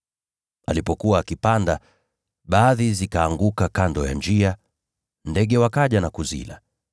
Alipokuwa akitawanya mbegu, nyingine zilianguka kando ya njia, nao ndege wakaja na kuzila.